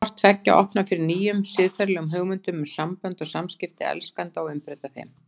Hvort tveggja opnar fyrir nýjum siðferðilegum hugmyndum um sambönd og samskipti elskenda og umbreyta þeim.